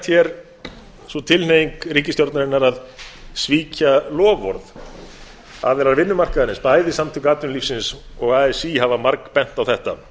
hér sú tilhneiging ríkisstjórnarinnar að svíkja loforð aðilar vinnumarkaðarins bæði samtök atvinnulífsins og así hafa margbent á þetta